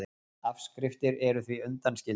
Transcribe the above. Afskriftir eru því undanskildar